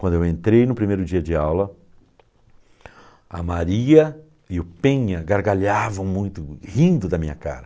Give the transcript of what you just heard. Quando eu entrei no primeiro dia de aula, a Maria e o Penha gargalhavam muito, rindo da minha cara.